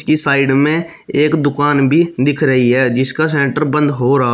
कि साइड में एक दुकान भी दिख रही है जिसका शटर बंद हो रहा--